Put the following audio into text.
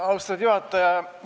Austatud juhataja!